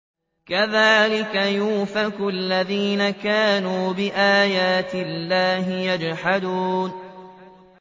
كَذَٰلِكَ يُؤْفَكُ الَّذِينَ كَانُوا بِآيَاتِ اللَّهِ يَجْحَدُونَ